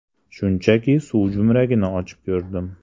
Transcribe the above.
Shunchaki suv jo‘mragini ochib ko‘rdim.